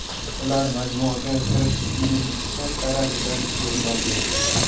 Ular majmuaga kirish qismining chap tarafidan o‘rin olgan.